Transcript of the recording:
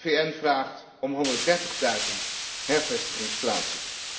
De VN vraagt om honderddertigduizend hervestigingsplaatsen.